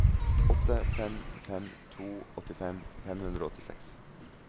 åtte fem fem to åttifem fem hundre og åttiseks